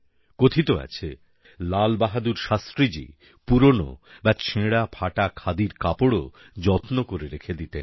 কথিত আছে লাল বাহাদুর শাস্ত্রীজী পুরনো বা ছেঁড়াফাটা খাদির কাপড়ও যত্ন করে রেখে দিতেন